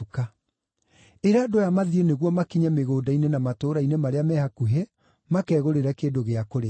Ĩra andũ aya mathiĩ nĩguo makinye mĩgũnda-inĩ na matũũra-inĩ marĩa me hakuhĩ makegũrĩre kĩndũ gĩa kũrĩa.”